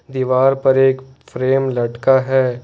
दीवार पर एक फ्रेम लटका है।